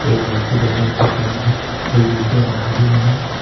एक व्यक्ति बनियान पर खड़ा है दो युवतियां नहा रही है।